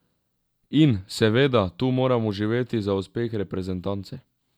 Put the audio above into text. In, seveda, tu moramo živeti za uspeh reprezentance.